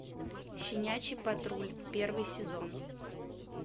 щенячий патруль первый сезон